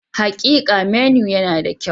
Hakika, menu yana da kyau.